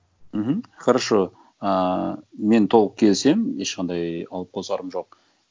мхм хорошо ыыы мен толық келісемін ешқандай алып қосарым жоқ